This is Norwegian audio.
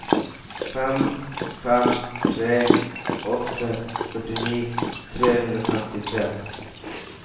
fem fem tre åtte førtini tre hundre og femtitre